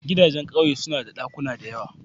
Gidajen ƙauye suna da ɗakuna da yawa.